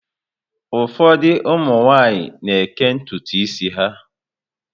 Ụfọdụ ụmụ nwaanyị na-eké ntutu isi ha.